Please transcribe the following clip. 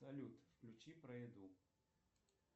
салют включи про еду